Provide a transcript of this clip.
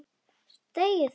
Þegi þú!